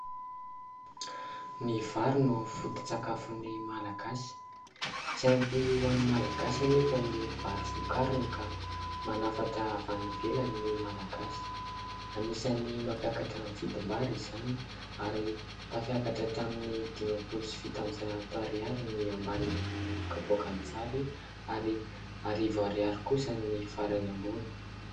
Ny vary no fototsakafon'ny Malagasy tsy ampy ho an'ny Malagasy anefa ny vary vokariny ka manafatra avy any ivelany ny Malagasy. Anisany mampiakatra ny vidim-bary izany ary tafiakatra hatramin'ny dimapolo sy fitonjato ariary ny ambany amin'ny kapoakan'ny vary ary arivo ariary kosa ny farany ambony.